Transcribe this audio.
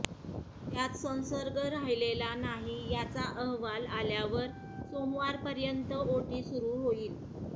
त्यात संसर्ग राहिलेला नाही याचा अहवाल आल्यावर सोमवारपर्यंत ओटी सुरू होईल